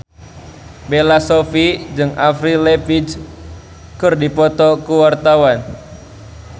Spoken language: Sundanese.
Bella Shofie jeung Avril Lavigne keur dipoto ku wartawan